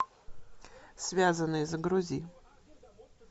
связанные загрузи